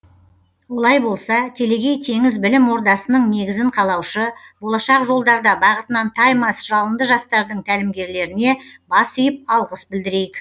олай болса телегей теңіз білім ордасының негізін қалаушы болашақ жолдарда бағытынан таймас жалынды жастардың тәлімгерлеріне бас иіп алғыс білдірейік